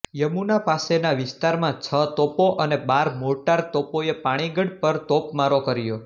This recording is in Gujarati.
યમુના પાસેના વિસ્તારમાં છ તોપો અને બાર મોર્ટાર તોપોએ પાણી ગઢ પર તોપમારો કર્યો